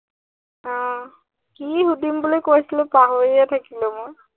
আহ কি সুধিম বুলি কৰিছিলো পাহৰিয়ে থাকিলো মই।